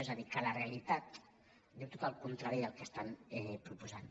és a dir que la realitat diu tot el contrari del que estan proposant